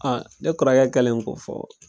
ne kɔrɔkɛ kɛlen k'o fɔ